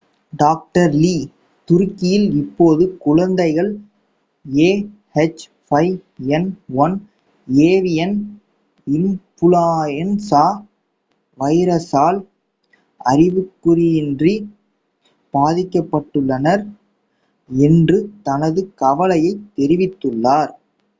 dr. Lee துருக்கியில் இப்போது குழந்தைகள் ah5n1 ஏவியன் இன்ஃப்லூயன்சா வைரஸால் அறிகுறியின்றி பாதிக்கப்பட்டுள்ளனர் என்றும் தனது கவலையைத் தெரிவித்துள்ளார்